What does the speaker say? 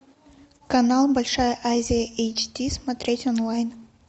канал большая азия эйч ди смотреть онлайн